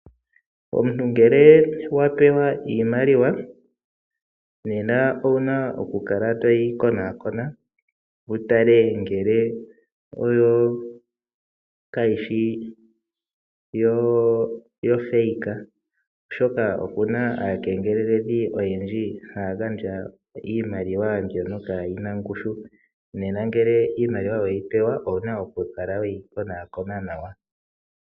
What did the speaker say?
Omuntu ngele wapewa iimaliwa owuna okukala toyi konaakona wu tale nge yo kayishi yofeeika oshoka opena aakengeleledhi oyendji mbono haa gandja iimaliw mbyono kaayina ongushu ngele iimaliw aweyi pewa owuna okukala weyi konankona nawa.